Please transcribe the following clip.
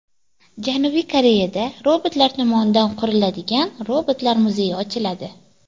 Janubiy Koreyada robotlar tomonidan quriladigan robotlar muzeyi ochiladi.